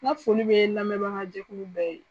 N ka foli bɛ lamɛnbaga jɛkulu bɛɛ ye.